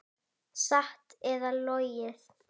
Satt eða logið.